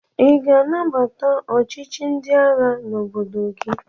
Ị ga-anabata ọchịchị ndị agha n'obodo gị?